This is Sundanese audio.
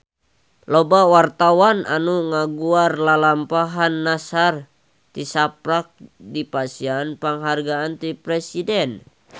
Loba wartawan anu ngaguar lalampahan Nassar tisaprak dipasihan panghargaan ti Presiden